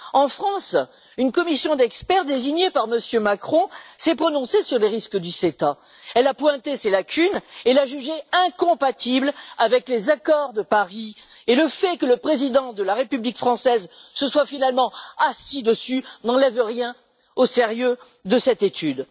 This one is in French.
En France, une commission d'experts désignés par M. Macron s'est prononcée sur les risques du CETA, a pointé ses lacunes et l'a jugé incompatible avec les accords de Paris, et le fait que le président de la République française se soit finalement assis dessus n'enlève rien au sérieux de cette étude.